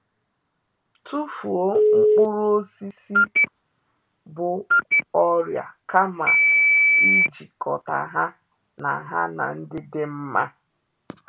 Tufuo mkpụrụ osisi bu ọrịa kama ijikọta ha na ha na ndị dị nma